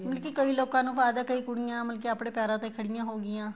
ਮਤਲਬ ਕੀ ਕਈਆਂ ਲੋਕਾ ਨੂੰ ਹੈ ਕਈ ਕੁੜੀਆਂ ਮਤਲਬ ਕੀ ਆਪਣੇ ਪੈਰਾ ਤੇ ਖੜੀਆਂ ਹੋ ਗਈਆਂ